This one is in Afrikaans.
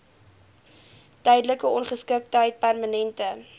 tydelike ongeskiktheid permanente